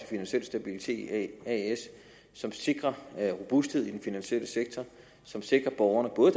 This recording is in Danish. finansiel stabilitet as som sikrer robusthed i den finansielle sektor og som sikrer borgerne både